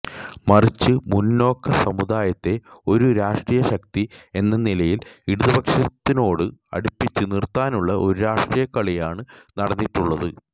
മറിച്ച് മുന്നോക്ക സമുദായത്തെ ഒരു രാഷ്ട്രീയ ശക്തി എന്ന നിലയില് ഇടതുപക്ഷത്തിനോട് അടുപ്പിച്ച് നിര്ത്താനുള്ള ഒരു രാഷ്ട്രീയ കളിയാണ് നടന്നിട്ടുള്ളത്